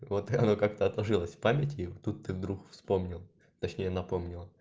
вот она как-то отложилось в памяти и вот тут ты вдруг вспомнила точнее напомнила